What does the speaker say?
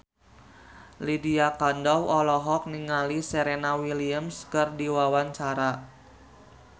Lydia Kandou olohok ningali Serena Williams keur diwawancara